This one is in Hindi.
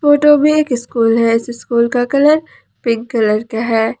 फोटो में एक स्कूल है इस स्कूल का कलर पिंक कलर का है।